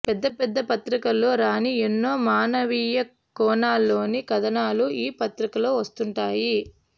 పెద్ద పెద్ద పత్రికల్లో రాని ఎన్నో మానవీయ కోణాల్లోని కథనాలు ఈ పత్రికలో వస్తుంటాయి